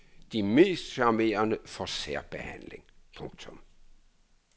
De mest charmerende får særbehandling. punktum